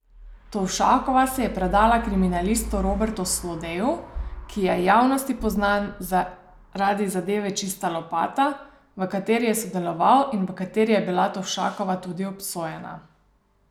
Tovšakova se je predala kriminalistu Robertu Slodeju, ki je javnosti postal znan zaradi zadeve Čista lopata, v kateri je sodeloval in v kateri je bila Tovšakova tudi obsojena.